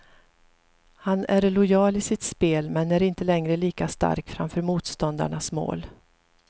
Han är lojal i sitt spel, men är inte längre lika stark framför motståndarnas mål.